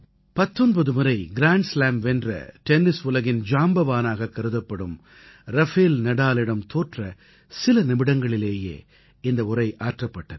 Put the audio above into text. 19 முறை grand slam வென்ற tennis உலகின் ஜாம்பவானாக கருதப்படும் ரஃபேல் நடாலிடம் தோற்ற சில நிமிடங்களிலேயே இந்த உரை ஆற்றப்பட்டது